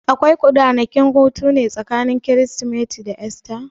Akwai ranakun hutune tsakanin Kirsimeti da Esta?